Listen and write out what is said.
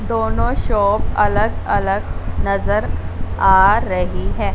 दोनों शॉप अलग अलग नजर आ रही है।